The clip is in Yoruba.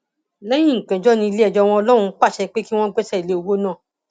lẹyìn ìgbẹjọ ní iléẹjọ wọn lóhun pàṣẹ pé kí wọn gbẹsẹ lé owó ọhún